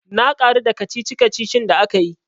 Na karu da kacici kacici da akayi.